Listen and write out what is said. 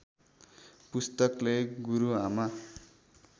पुस्तकले गुरु आमा